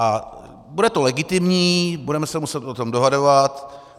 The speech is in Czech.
A bude to legitimní, budeme se muset o tom dohadovat.